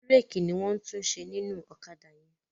Bírèèkì ni wọ́n ń tún ṣe nínú ọ̀kádà yẹn.